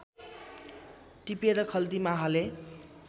टिपेर खल्तीमा हाले